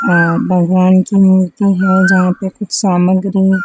अ भगवान की मूर्ति है जहां पे कुछ सामग्री--